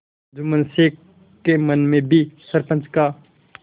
जुम्मन शेख के मन में भी सरपंच का